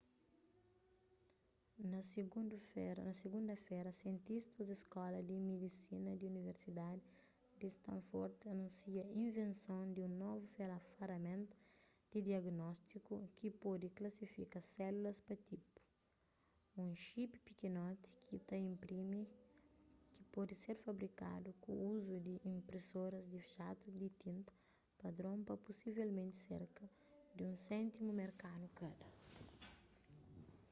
na sigunda-fera sientistas di skóla di midisina di universidadi di stanford anúnsia invenson di un novu faraménta di diagnótiku ki pode klasifika sélulas pa tipu un xiipi pikinoti ki ta inprimi ki pode ser fabrikadu ku uzu di inprisoras di jatu di tinta padron pa pusivelmenti serka di un séntimu merkanu kada